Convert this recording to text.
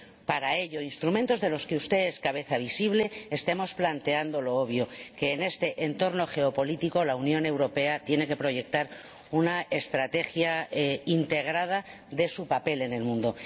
para ello —instrumentos de los que usted es cabeza visible—, estemos planteando lo obvio que en este entorno geopolítico la Unión Europea tiene que proyectar una estrategia integrada de su papel en el mundo.